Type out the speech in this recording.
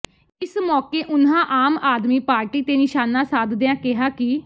ਇਸ ਮੌਕੇ ਉਨ੍ਹਾਂ ਆਮ ਆਦਮੀ ਪਾਰਟੀ ਤੇ ਨਿਸ਼ਾਨਾ ਸਾਧਦਿਆਂ ਕਿਹਾ ਕਿ